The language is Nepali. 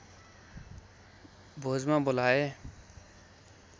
भोजमा बोलाए